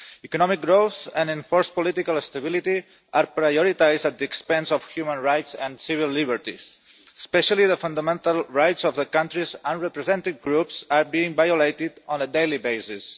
Economic growth and enforced political stability are prioritised at the expense of human rights and civil liberties, and especially the fundamental rights of the country's unrepresented groups are being violated on a daily basis.